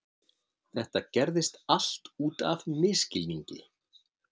Þetta gerðist allt út af misskilningi.